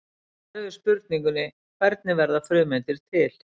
Svarið við spurningunni Hvernig verða frumeindir til?